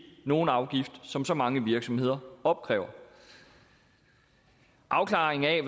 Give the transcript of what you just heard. nogen afgift som så mange virksomheder opkræver afklaringen af